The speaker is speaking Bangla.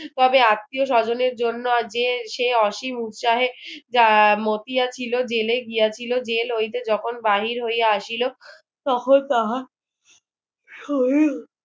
তবে আত্মীয় স্বজনের জন্য যে সে অসীম উচ্চাহে মতিয়া ছিল জেলে গিয়েছিল জেল হইতে যখন বাহির হইয়া আসিল তখন তাহা